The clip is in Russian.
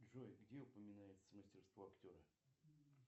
джой где упоминается мастерство актера